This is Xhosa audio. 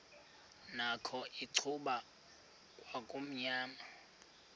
nakho icuba kwakumnyama